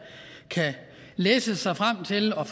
læse sig frem til og